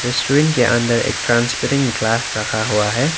Screen के अंदर एक ट्रांसपेरेंट ग्लास रखा हुआ है।